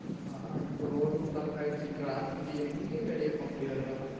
ஆஹ் ஆஹ் இப்ப road block ஆயிருச்சு traffic எங்கயும் வெளிய போக முடியாது டா